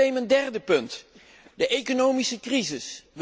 Dat is meteen mijn derde punt de economische crisis.